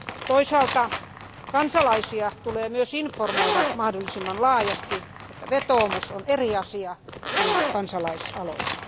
Toisaalta kansalaisia tulee myös informoida mahdollisimman laajasti siitä, että vetoomus on eri asia kuin kansalaisaloite.